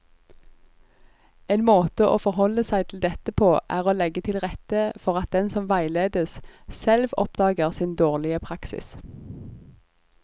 En måte å forholde seg til dette på er å legge til rette for at den som veiledes, selv oppdager sin dårlige praksis.